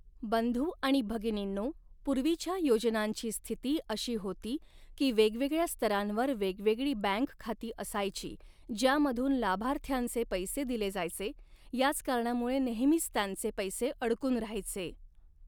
बंधु आणि भगिनींनो, पूर्वीच्या योजनांची स्थिती अशी होती की वेगवेगळ्या स्तरांवर वेगवेगळी बँक खाती असायची, ज्यामधून लाभार्थ्यांचे पैसे दिले जायचे, याच कारणामुळे नेहमीच त्यांचे पैसे अडकून राहायचे.